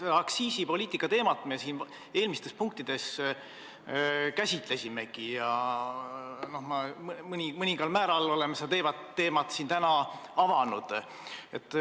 Seda aktsiisipoliitika teemat me eelmistes punktides käsitlesime ja mõningal määral oleme seda teemat täna siin avanud.